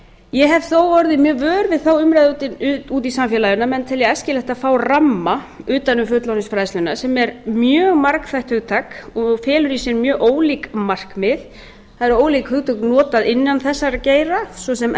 ég hef þó orðið mjög vör við þá umræðu úti í samfélaginu að menn telja æskilegt að fá ramma utan um fullorðinsfræðsluna sem er mjög margþætt hugtak og felur í sér mjög ólík markmið það eru ólík hugtök notuð innan þessa geira svo sem